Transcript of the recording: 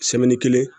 kelen